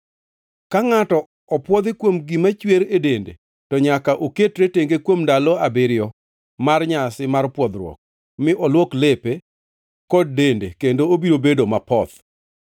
“ ‘Ka ngʼato opwodhi kuom gima chwer e dende, to nyaka oketre tenge kuom ndalo abiriyo mar nyasi mar pwodhruok; mi olwok lepe kod dende kendo obiro bedo mapoth.